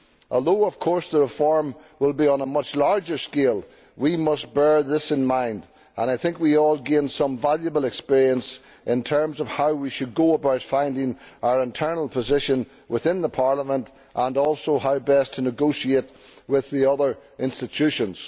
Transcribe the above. Although of course the reform will be on a much larger scale, we must bear this in mind, and I think we all gained some valuable experience in terms of how we should go about finding our internal position within Parliament and also how best to negotiate with the other institutions.